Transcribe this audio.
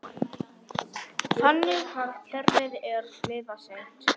Brynja Þorgeirsdóttir: Þannig að kerfið er svifaseint?